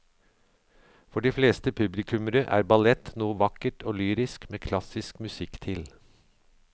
For de fleste publikummere er ballett noe vakkert og lyrisk med klassisk musikk til.